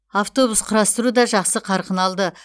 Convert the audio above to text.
автобус құрастыру да жақсы қарқын алды